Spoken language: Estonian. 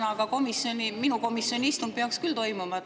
Aga ka minu komisjoni istung peaks toimuma.